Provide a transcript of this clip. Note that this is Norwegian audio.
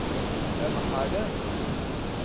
hvem er det